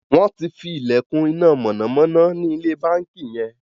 wón tí fí ilekun iná mọ̀nàmọ́ná ní ilé bánkì yen.